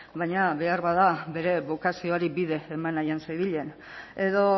baina beharbada bere bokazioari bide eman nahian zebilen edo